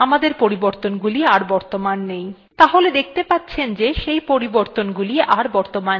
তাহলে দেখবেন যে আমাদের পরিবর্তনগুলো are বর্তমান নেই তাহলে দেখতে পাচ্ছেন যে সেই পরিবর্তনগুলো are বর্তমান নেই